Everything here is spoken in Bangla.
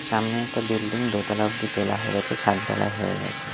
সামনে একটা বিল্ডিং দোতলা অব্দি তোলা হয়ে গেছে ছাদ ঢালাই হয়ে গেছে।